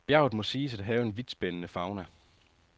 Bjerget må siges at have en vidtspændende fauna.